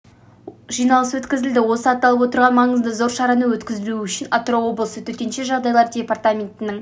жиналыс өткізілді осы аталып отырған маңызы зор шараны өткізу үшін атырау облысы төтенше жағдайлар департаментінің